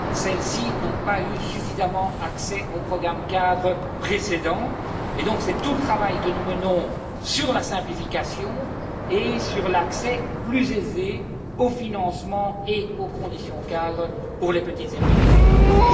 Celles ci n'ont pas eu suffisamment accès au programme cadre précédent et c'est donc tout le travail que nous menons sur la simplification et sur l'accès plus aisé au financement et aux conditions cadres pour les petites et moyennes entreprises.